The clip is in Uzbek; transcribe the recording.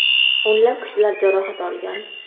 O‘nlab kishilar jarohat olgan.